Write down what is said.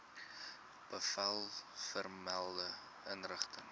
bevel vermelde inrigting